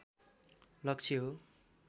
लक्ष्य हो